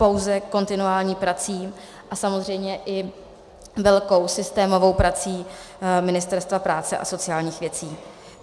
Pouze kontinuální prací a samozřejmě i velkou systémovou prací Ministerstva práce a sociálních věcí.